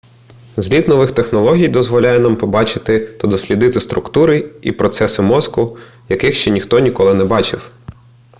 зліт нових технологій дозволяє нам побачити та дослідити структури і процеси мозку яких ще ніхто ніколи не бачив